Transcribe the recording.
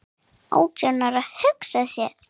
Átján ára, hugsa sér!